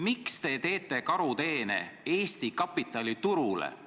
Miks te teete Eesti kapitaliturule karuteene?